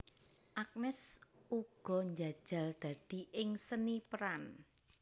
Agnes uga njajal dadi ing seni peran